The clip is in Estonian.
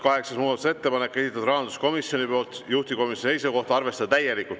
Kaheksas muudatusettepanek, esitanud rahanduskomisjon, juhtivkomisjoni seisukoht: arvestada täielikult.